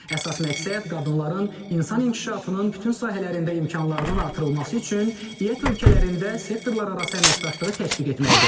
Əsas məqsəd qadınların insan inkişafının bütün sahələrində imkanlarının artırılması üçün İƏT ölkələrində sektorlararası əməkdaşlığı təşviq etməkdir.